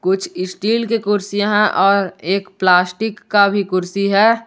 कुछ स्टील कि कुर्सियां हैं और एक प्लास्टिक का भी कुर्सी है।